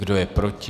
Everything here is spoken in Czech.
Kdo je proti?